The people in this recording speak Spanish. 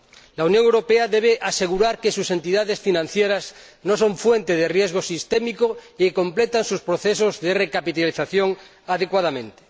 La Unión Europea debe asegurar que sus entidades financieras no son fuente de riesgo sistémico y que completan sus procesos de recapitalización adecuadamente.